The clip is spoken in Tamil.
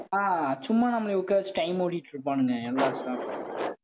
ஆஹ் சும்மா நம்மளை உட்காரவச்சு time ஓட்டிட்டு இருப்பானுங்க எல்லா staff உம்